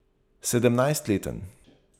Sedemnajstleten.